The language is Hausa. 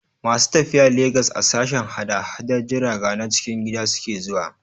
Masu tafiya Legas a sashen hada-hadar jiraga na cikin gida suke zuwa.